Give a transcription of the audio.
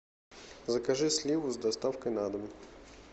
закажи сливу с доставкой на дом